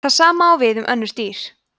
það sama á við um önnur dýr